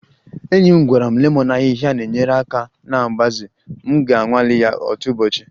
Enyi m gwara m lemon ahịhịa na-enyere aka na mgbaze, m ga-anwale ya otu ụbọchị